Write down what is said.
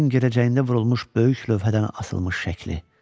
Kəndin girəcəyində vurulmuş böyük lövhədən asılmış şəkli.